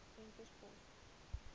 venterspost